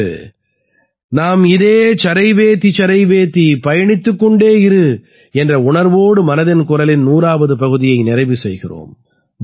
இன்று நாம் இதே சரைவேதி சரைவேதிபயணித்துக் கொண்டே இரு என்ற உணர்வோடு மனதின் குரலின் 100ஆவது பகுதியை நிறைவு செய்கிறோம்